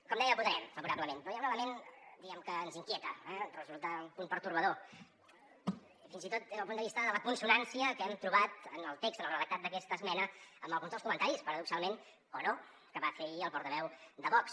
com deia hi votarem favorablement però hi ha un element diguem ne que ens inquieta eh resulta un punt pertorbador fins i tot des del punt de vista de la consonància que hem trobat en el text en el redactat d’aquesta esmena amb alguns dels comentaris paradoxalment o no que va fer ahir el portaveu de vox